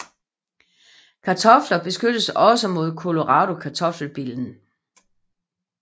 Kartofler beskyttes også mod Colorado kartoffelbillen